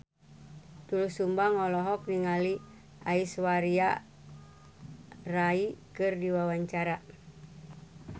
Doel Sumbang olohok ningali Aishwarya Rai keur diwawancara